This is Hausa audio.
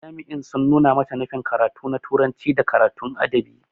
Jami'in sun nuna mata nufin karatu na turanci da karatun adabi.